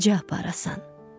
Necə aparasan?